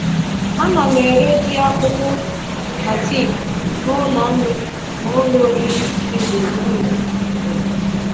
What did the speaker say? Ana m ere ji akpụkpụ na teepụ n’ụlọ nri na ụlọ oriri dị gburugburu obodo.